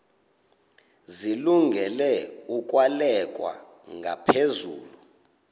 zilungele ukwalekwa ngaphezulu